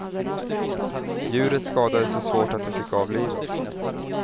Djuret skadades så svårt att det fick avlivas.